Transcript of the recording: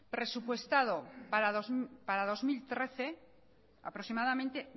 presupuestado para dos mil trece aproximadamente